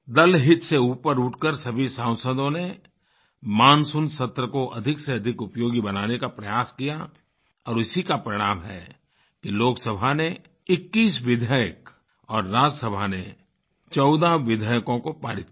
दलहित से ऊपर उठकर सभी सांसदों ने मानसून सत्र को अधिक से अधिक उपयोगी बनाने का प्रयास किया और इसी का परिणाम है कि लोकसभा ने 21 विधेयक और राज्यसभा ने 14 विधेयकों को पारित किया